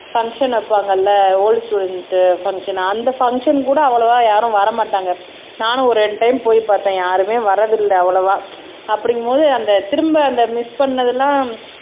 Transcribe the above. function வைப்பாங்கல்ல old student function அந்த function கூட அவ்வளவா யாரும் வர மாட்டாங்க நானும் ஒரு ரெண்டு டைம் போய் பார்த்தேன் யாருமே வரதில்ல அவ்வளவா அப்படிங்கும் போது அந்த திரும்ப அந்த மிஸ் பண்ணதெல்லாம்